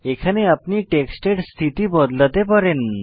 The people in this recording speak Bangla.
এখানে আপনি টেক্সটের স্থিতি বদলাতে পারেন